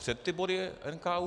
Před ty body NKÚ...?